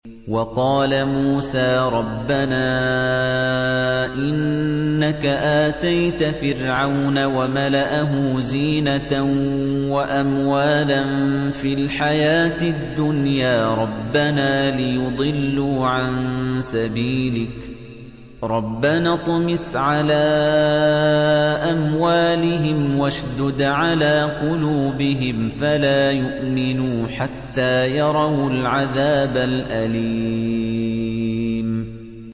وَقَالَ مُوسَىٰ رَبَّنَا إِنَّكَ آتَيْتَ فِرْعَوْنَ وَمَلَأَهُ زِينَةً وَأَمْوَالًا فِي الْحَيَاةِ الدُّنْيَا رَبَّنَا لِيُضِلُّوا عَن سَبِيلِكَ ۖ رَبَّنَا اطْمِسْ عَلَىٰ أَمْوَالِهِمْ وَاشْدُدْ عَلَىٰ قُلُوبِهِمْ فَلَا يُؤْمِنُوا حَتَّىٰ يَرَوُا الْعَذَابَ الْأَلِيمَ